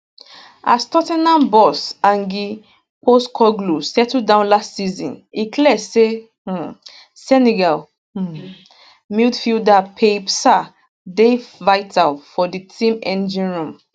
as tot ten ham boss ange postecoglou settle down last season e clear say um senegal um midfielder pape sarr dey vital for di team engine room